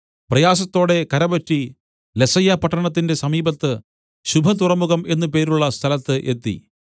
പ്രയാസത്തോടെ കരപറ്റി ലസയ്യപട്ടണത്തിന്റെ സമീപത്ത് ശുഭതുറമുഖം എന്നു പേരുള്ള സ്ഥലത്ത് എത്തി